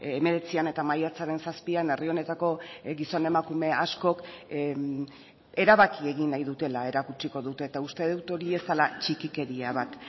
hemeretzian eta maiatzaren zazpian herri honetako gizon emakume askok erabaki egin nahi dutela erakutsiko dute eta uste dut hori ez dela txikikeria bat